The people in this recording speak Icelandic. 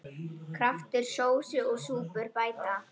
Kraftur sósu og súpur bæta.